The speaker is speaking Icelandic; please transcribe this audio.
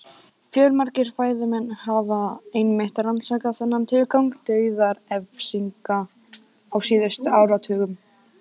Fjölmargir fræðimenn hafa einmitt rannsakað þennan tilgang dauðarefsinga á síðustu áratugum.